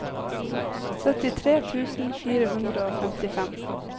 syttitre tusen fire hundre og femtifem